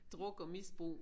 Druk og misbrug